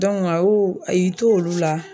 a y'o, a y'i to olu la.